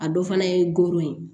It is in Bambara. A dɔ fana ye goro ye